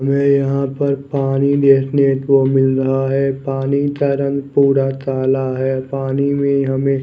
हमे यहाँ पर पानी देखने को मिल रहा है पानी का रंग पुरा काला है पानी में हमे --